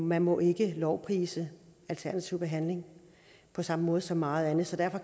man må ikke lovprise alternativ behandling på samme måde som meget andet derfor